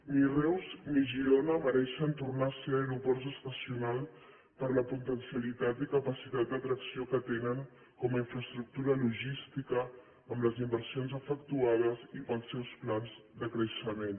ni reus ni girona mereixen tornar a ser aeroports estacionals per la potencialitat i capacitat d’atracció que tenen com a infraestructura logística amb les inversions efectuades i pels seus plans de creixement